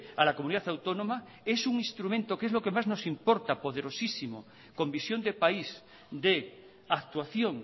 a la comunidad autónoma es un instrumento que es lo que más nos importa poderosísimo con visión de país de actuación